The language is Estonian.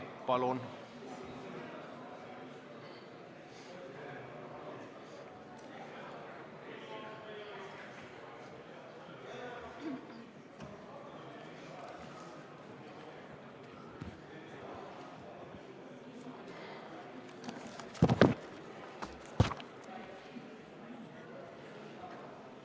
Palun!